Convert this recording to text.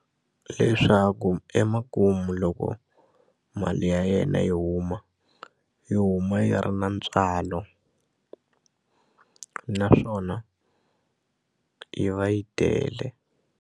Leswaku emakumu loko mali ya yena yi huma yi huma yi ri na ntswalo naswona yi va yi tele.